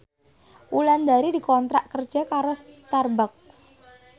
Wulandari dikontrak kerja karo Starbucks